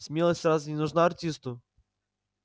смелость разве не нужна артисту